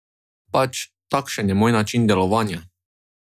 Pač, takšen je moj način delovanja.